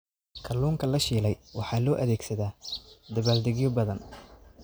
Kalluunka la shiilay waxaa loo adeegsadaa dabaaldegyo badan.